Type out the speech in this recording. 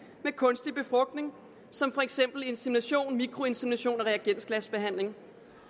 med kunstig befrugtning som for eksempel insemination mikroinsemination og reagensglasbehandling